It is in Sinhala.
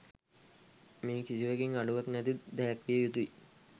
මේ කිසිවකින් අඩුවක් නැති දැයක් විය යුතුයි.